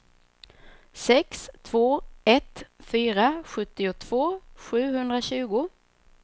sex två ett fyra sjuttiotvå sjuhundratjugo